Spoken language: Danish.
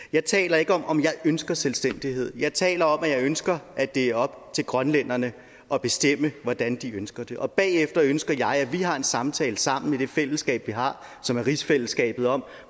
jeg taler ikke om om jeg ønsker selvstændighed jeg taler om at jeg ønsker at det er op til grønlænderne at bestemme hvordan de ønsker det og bagefter ønsker jeg at vi har en samtale sammen i det fællesskab vi har som er rigsfællesskabet om